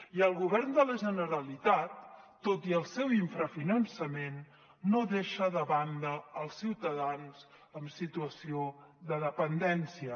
i el govern de la generalitat tot i el seu infrafinançament no deixa de banda els ciutadans amb situació de dependència